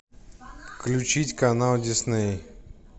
включить канал дисней